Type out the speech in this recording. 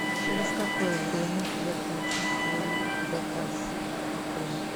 через какое время я получу свой заказ в отеле